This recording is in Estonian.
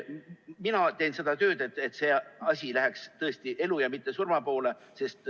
Mina teen seda tööd, et see asi läheks tõesti elu ja mitte surma poole.